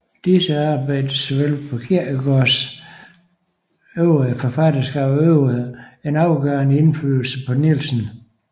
Disse arbejder såvel som Kierkegaards øvrige forfatterskab øvede en afgørende indflydelse på Nielsen